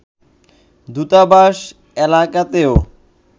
দূতাবাস এলাকাতেও